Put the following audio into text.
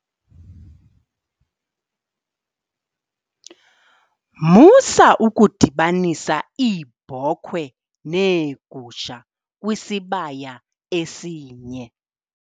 Musa ukudibanisa iibhokhwe neegusha kwisibaya esinye.